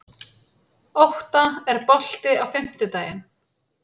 Ótta, er bolti á fimmtudaginn?